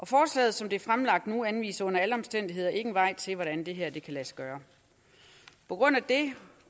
forslaget som det er fremlagt anviser under alle omstændigheder ikke en vej til hvordan det her kan lade sig gøre på grund af det